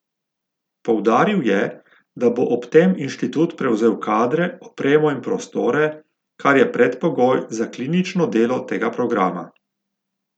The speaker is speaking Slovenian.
Poudaril je, da bo ob tem inštitut prevzel kadre, opremo in prostore, kar je predpogoj za klinično delo tega programa.